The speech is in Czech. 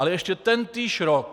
Ale ještě tentýž rok...